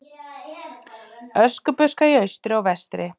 Öskubuska í austri og vestri.